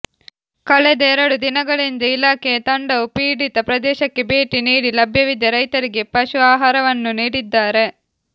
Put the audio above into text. ಕಳೆದ ಎರಡು ದಿನಗಳಿಂದ ಇಲಾಖೆಯ ತಂಡವು ಪೀಡಿತ ಪ್ರದೇಶಕ್ಕೆ ಭೇಟಿ ನೀಡಿ ಲಭ್ಯವಿದ್ದ ರೈತರಿಗೆ ಪಶು ಆಹಾರವನ್ನು ನೀಡಿದ್ದಾರೆ